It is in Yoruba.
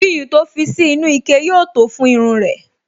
Iyùn to fi sí inú ike yóò tó fún irun rẹ̀